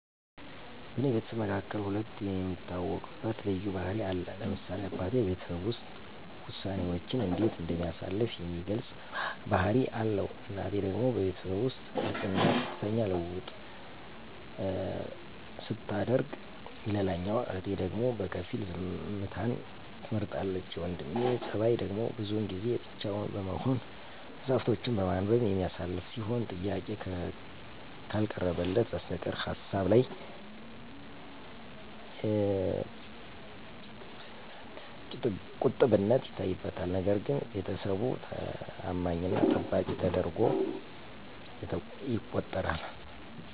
በኔ ቤተሰብ መካከል ሁለም የሚታወቅበት ልዩ ባህሪ አለ ለምሳሌ አበቴ በቤተሰቡ ዉስጥ ወሳኔወችንእንዴት እንደሚያሳልፍ የሚገልጽ ባህሪ አለዉ እናቴ ደግሞ በቤተሰቡ ዉስጥ ግልጽና ቀጥተኛ ልዉዉጥሰታደርግ ሌላኛዋ እህቴ ደግሞ በከፊል ዝምተን ትመርጣለች የወንድሜ ጸባይደግሞ ብዙን ጊዜ ብቻዉን በመሆን መጽሀፍቶችን በማንበብ የሚያሳልፍ ሲሆን ጥያቄ ከልቀረበለት በስተቀር ሀሳብላይ ቂጥብነት ይታይበታል ነገርግን ቤተሰቡ ተማኝና ጠባቂ ተደርጓ የተቆጠራል።